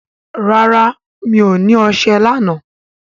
rà rá mi'o ní ọṣẹ lànà